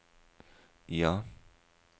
ja